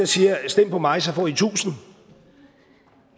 siger stem på mig så får i tusind